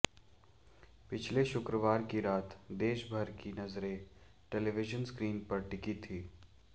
पिछले शुक्रवार की रात देशभर की नज़रें टेलीविज़न स्क्रीन पर टिकी थीं